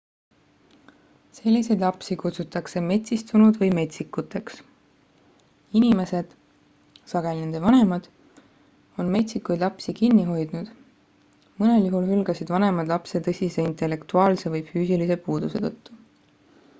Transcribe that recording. selliseid lapsi kutsutakse metsistunud või metsikuteks. inimesed sageli nende vanemad on metsikuid lapsi kinni hoidnud; mõnel juhul hülgasid vanemad lapse tõsise intellektuaalse või füüsilise puuduse tõttu